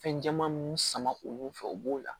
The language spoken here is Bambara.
Fɛn caman minnu sama olu fɛ u b'o la